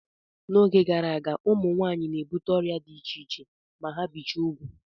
N'oge gara aga, ụmụ nwaanyị na-ebute ọrịa dị iche iche ma ha bichaa ugwu.